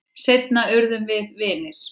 Seinna urðum við vinir.